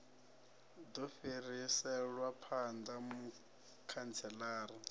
u do fhiriselwa phanda mukhantselara